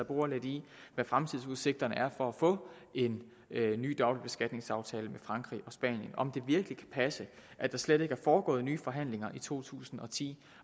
bore lidt i hvad fremtidsudsigterne er for at få en ny dobbeltbeskatningsaftale med frankrig og spanien og om det virkelig kan passe at der slet ikke er foregået nye forhandlinger i to tusind og ti